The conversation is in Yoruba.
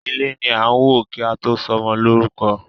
Ilé ni a n wo ki a to ṣọmọ lórúkọ.